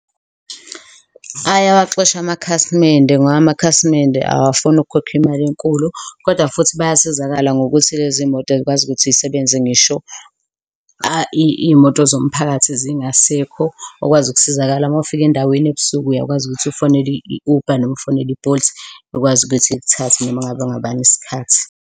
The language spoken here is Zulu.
Ayawaxosha amakhasimende ngoba amakhasimende awafuni ukukhokha imali enkulu kodwa futhi bayasizakala ngokuthi lezi moto zikwazi ukuthi zisebenze ngisho iyimoto zomphakathi zingasekho, ukwazi ukusizakala. Mawufika endaweni ebusuku uyakwazi ukuthi ufonele i-Uber noma ufonele i-Bolt, ikwazi ukuthi ikuthathe noma ngabe ngobani isikhathi.